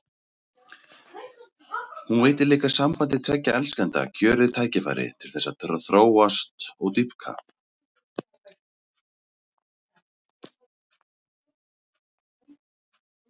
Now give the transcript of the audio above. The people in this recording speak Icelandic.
Hún veitir líka sambandi tveggja elskenda kjörið tækifæri til þess að þróast og dýpka.